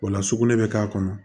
O la sugunɛ bɛ k'a kɔnɔ